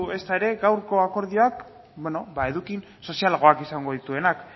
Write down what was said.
ezta ere gaurko akordioak eduki sozialagoak izango dituenak